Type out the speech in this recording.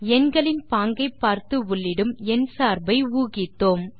எண்களின் பாங்கை பார்த்து உள்ளிடும் எண் சார்பை ஊகித்தோம்